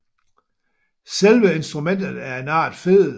Selve instrumentet er en art fedel